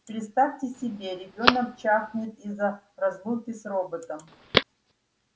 представьте себе ребёнок чахнет из-за разлуки с роботом